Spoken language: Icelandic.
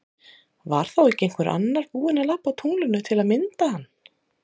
Var þá ekki einhver annar búin að labba á tunglinu til að mynda hann?